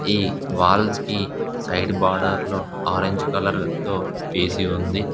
ఈ వాల్స్ కి సైడ్ బార్డర్లో ఆరెంజ్ కలర్ తో వేసి ఉంది.